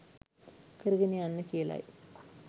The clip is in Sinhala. කරගෙන යන්න කියලයි.